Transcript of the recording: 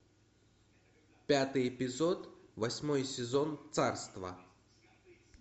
пятый эпизод восьмой сезон царство